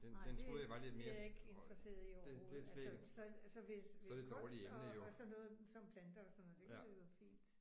Nej det det er jeg ikke interesseret i overhovedet altså så så hvis kunst og og sådan noget som planter og sådan noget det kunne jo være fint